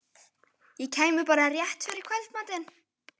Ég kæmi bara rétt fyrir kvöldmatinn.